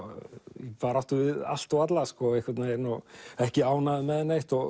í baráttu við allt og alla og ekki ánægður með neitt